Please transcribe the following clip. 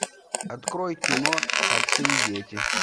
открой кино отцы и дети